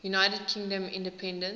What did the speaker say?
united kingdom independence